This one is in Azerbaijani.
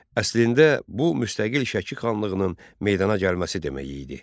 Əslində bu müstəqil Şəki xanlığının meydana gəlməsi demək idi.